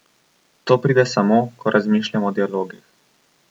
To pride samo, ko razmišljam o dialogih.